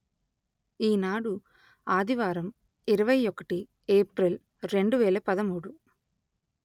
ఈనాడు ఆదివారం ఇరవై ఒకటి ఏప్రిల్ రెండు వేల పదమూడు